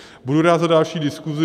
Budu rád za další diskuzi.